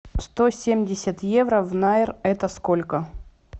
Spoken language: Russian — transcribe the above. сто семьдесят евро в найр это сколько